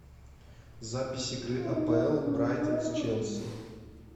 запись игры апл брайтон с челси